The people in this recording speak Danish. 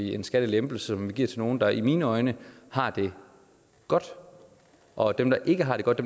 en skattelempelse som vi giver til nogle der i mine øjne har det godt og dem der ikke har det godt